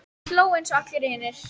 Hann hló eins og allir hinir.